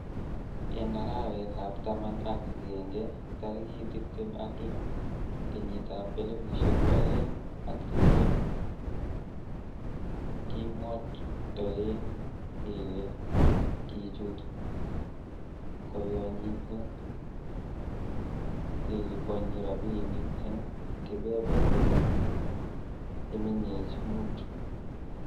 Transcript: En arawetab taman ak agenge, tarigit tibtem ak loo, kenyitab elfusiek oeng ak tibtem, kemwoitoen kele kichut koyonyinet keliponyi rabinik en keberwek che mengech mut.